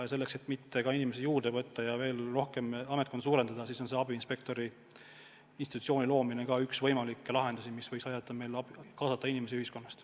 Ja selleks, et mitte töötajaid juurde võtta ja ametkonda suurendada, on abiinspektori institutsiooni loomine üks võimalikke lahendusi, mis võiks aidata kaasata inimesi ühiskonnast.